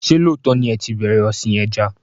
Ṣé lóòtọ́ ni ẹ tí bẹ̀rẹ̀ ọ̀sìn ẹja?